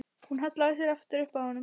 Hún hallaði sér aftur upp að honum.